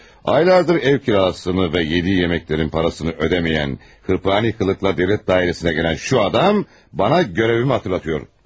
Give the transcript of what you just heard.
Aylardır ev kirasını və yediyi yeməklərin parasını ödəmiyən, hırpani qılıqla devlət dairəsinə gələn şu adam bana görevimi hatırlatıyor.